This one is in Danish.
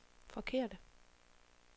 forkerte